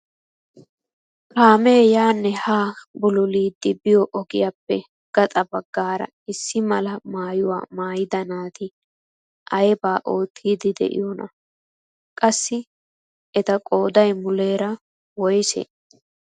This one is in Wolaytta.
Kaamee yaanne haa bululidi biyo ogiyaappe gaxa baggaara issi mala maayuwaa maayida naati aybaa oottiidi de'iyoonaa? Qassi etu qoodaykka muleera woysee?